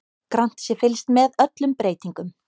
Grannt sé fylgst með öllum breytingum